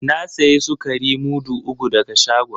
Na sayi sukari mudu uku daga shagon.